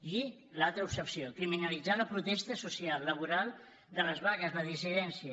i l’altra obsessió criminalitzar la protesta social laboral de les vagues la dissidència